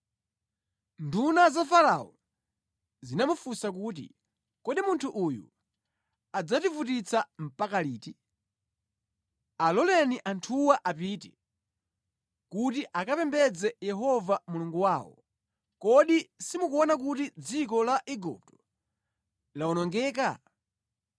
Nduna za Farao zinamufunsa kuti, “Kodi munthu uyu adzativutitsa mpaka liti? Aloleni anthuwa apite, kuti akapembedze Yehova Mulungu wawo. Kodi simukuona kuti dziko la Igupto lawonongeka?”